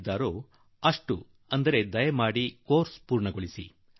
ಪೂರ್ತಿ ಮಾಡಬೇಕೆಂದು ಹೇಳುವರೋ ಅಷ್ಟನ್ನು ಚಾಚು ತಪ್ಪದೆ ನೀವು ಮಾಡಿ ಎನ್ನುವುದು ನಿಮ್ಮಲ್ಲಿ ನನ್ನ ಆಗ್ರಹ